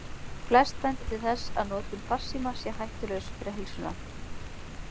Flest bendir til þess að notkun farsíma sé hættulaus fyrir heilsuna.